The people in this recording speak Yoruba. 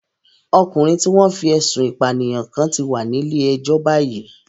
Ọkùnrin tí wọ́n fí ẹ̀sun ìpànìyàn kán ti wà nílé ẹjọ́ báyìí